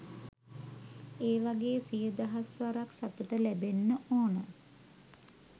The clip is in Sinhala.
ඒ වගේ සිය දහස් වරක් සතුට ලැබෙන්න ඕන.